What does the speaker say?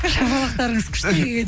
шапашалықтарыңыз күшті екен